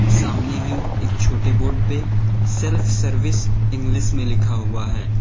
सामने ही एक छोटे बोर्ड पे सेल्फ सर्विस इंग्लिश में लिखा हुआ है।